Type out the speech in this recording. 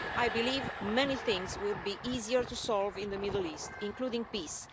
I believe many things would be easier to solve in the Middle East, including peace.